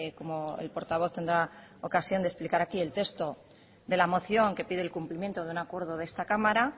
como el portavoz tendrá ocasión de explicar aquí el texto de la moción que pide el cumplimiento de un acuerdo de esta cámara